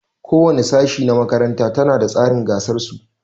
Ko wani sashi na makarantar ta na da tsarin rigar su.